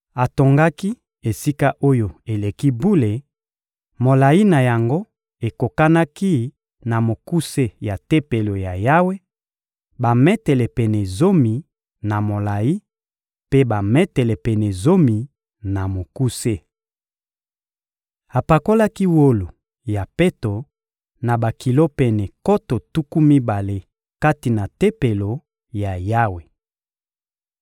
Atongaki Esika-Oyo-Eleki-Bule; molayi na yango ekokanaki na mokuse ya Tempelo ya Yawe: bametele pene zomi, na molayi, mpe bametele pene zomi, na mokuse. Apakolaki wolo ya peto ya bakilo pene nkoto tuku mibale kati na Tempelo ya Yawe.